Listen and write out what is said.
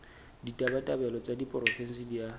ditabatabelo tsa diporofensi di a